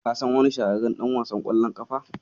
Ka san wani shahararren ɗan wasan ƙwallon ƙafa?